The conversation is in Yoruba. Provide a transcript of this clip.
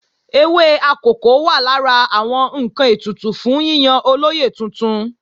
Ewé akòko wà lára àwọn ǹkan ètùtù fún yíyan olóyè tuntun